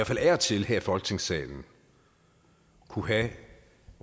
fald af og til her i folketingssalen kunne have et